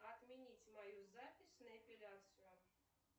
отменить мою запись на эпиляцию